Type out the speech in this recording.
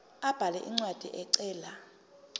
abhale incwadi ecela